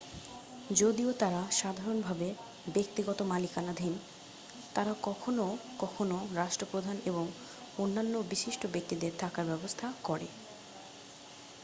যদিও তারা সাধারণভাবে ব্যক্তিগত মালিকানাধীন তারা কখনও কখনও রাষ্ট্রপ্রধান এবং অন্যান্য বিশিষ্ট ব্যক্তিদের থাকার ব্যবস্থা করে